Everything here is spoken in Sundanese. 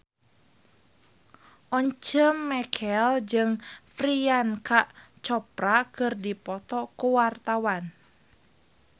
Once Mekel jeung Priyanka Chopra keur dipoto ku wartawan